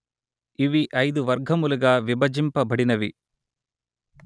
ఇవి ఐదు వర్గములుగా విభజింపబడినవి